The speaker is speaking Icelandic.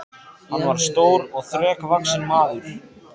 Hann var stór og þrekvaxinn maður.